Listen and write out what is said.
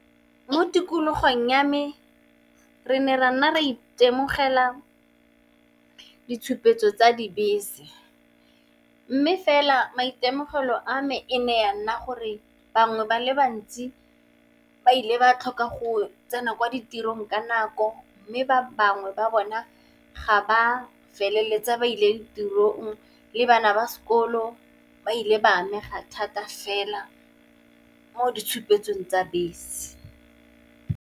Mo tikologong ya me re ne ra nna ra itemogela ditshupetso tsa dibese. Mme, fela maitemogelo a me e ne ya nna gore bangwe ba le bantsi ba ile ba tlhoka go tsena kwa ditirong ka nako. Mme, ba bangwe ba bona ga ba feleletsa ba ile ditirong, le bana ba sekolo ba ile ba amega thata fela mo ditshupetsong tsa bese.